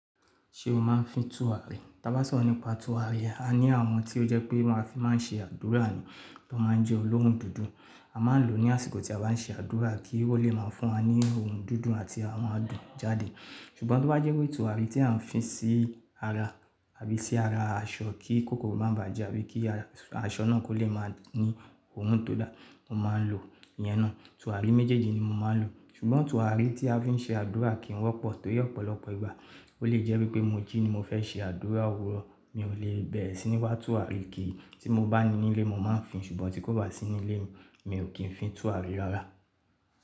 Ṣé o máa ń fi tùràrí? Tí a bá sọ̀rọ̀ nípa tùràrí, a ní àwọn tí ó jẹ́ pé máa fi máa ń ṣe àdúrà ni, tí wọ́n máa ń jẹ olóòórùn dúdú. A máa ń lò ó ní àsìkò tí a bá ń ṣe àdúrà kí ó lè máa fún wa ní òórùn dúndún àti àwọn adùn jáde. Ṣùgbọ́n bí ó bá jẹ́ wípé tùràrí tí à ń fi sí ara àbí sí ara aṣọ kí kòkòrò má ba à jẹ́ àbí kí aṣọ náà kó lè máa ní òórùn tó dáa, mo máa ń lò ìyẹn ná. Tùràrí méjèèjì ni mo máa ń lò. Ṣùgbọ́n tùràrí tí a fi ń ṣe àdúrà kì í wọ́pọ̀ torí ọ̀pọ̀lọpọ̀ ìgbà ó lè jẹ́ wípé mo jí ni mo fẹ́ ṣe àdúrà òwúrọ̀, mi ò lè bẹ̀rẹ̀ sí ní wá tùràrí kí i, tí mo bá ní nílé mo máa ń fi, ṣùgbọ́n tí kò bá sí nílé mi, mi ò kí ń fi tùràrí rára.